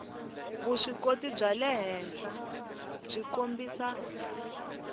vuswikoti bya le henhlabyi kombisa